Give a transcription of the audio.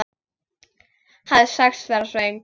Hafi sagst vera svöng.